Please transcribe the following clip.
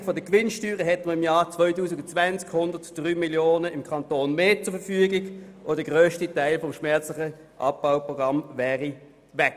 Ohne Senkung der Gewinnsteuern hätte man im Jahr 2020 103 Mio. Franken im Kanton mehr zur Verfügung und der grösste Teil des schmerzlichen Abbauprogramms würde entfallen.